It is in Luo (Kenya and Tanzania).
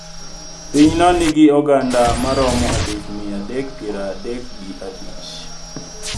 Piny no nigi oganda ma romo alif mia adek piero adek gi abich